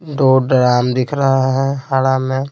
दो ड्राम दिख रहा है हरा में--